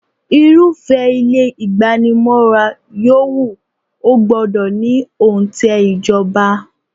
Irúfẹ́ ilé igbanimọ́ra yòówù, ó gbọ́dọ̀ ní onte ìjọba.